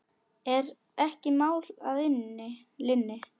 Er ekki mál að linni?